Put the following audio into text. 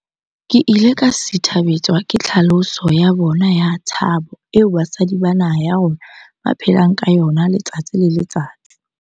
Ke ile ka sithabetswa ke tlhaloso ya bona ya tshabo eo basadi ba naha ya rona ba phelang ka yona letsatsi le letsatsi.